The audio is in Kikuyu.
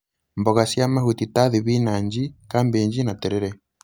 Mboga cia mahuti ta thibinanji, kambĩnji na terere